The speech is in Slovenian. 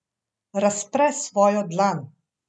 Razpre svojo dlan.